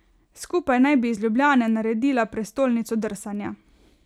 Skupaj naj bi iz Ljubljane naredila prestolnico drsanja.